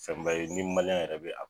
Fɛn ba ye ni yɛrɛ be